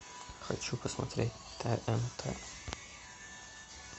хочу посмотреть тнт